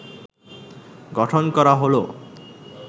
গঠন করা হল